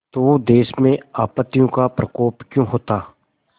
तो देश में आपत्तियों का प्रकोप क्यों होता